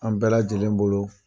An bɛɛ lajɛlen bolo